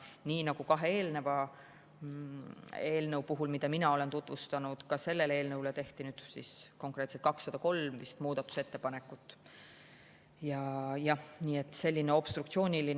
Nii nagu kahe eelneva eelnõu puhul, mida mina olen tutvustanud, tehti ka selle eelnõu kohta rohkelt muudatusettepanekuid, konkreetselt oli neid vist 203.